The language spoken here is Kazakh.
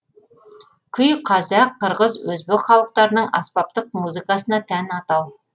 күй қазақ қырғыз өзбек халықтарының аспаптық музыкасына тән атау